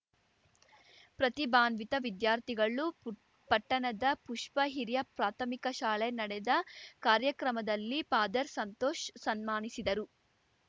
ಪ್ರತಿಭಾನ್ವಿತ ವಿದ್ಯಾರ್ಥಿಗಳು ಪುಟ್ ಪಟ್ಟಣದ ಪುಷ್ಪಾ ಹಿರಿಯ ಪ್ರಾಥಮಿಕ ಶಾಲೆ ನಡೆದ ಕಾರ್ಯಕ್ರಮದಲ್ಲಿ ಫಾದರ್‌ ಸಂತೋಷ್‌ ಸನ್ಮಾನಿಸಿದರು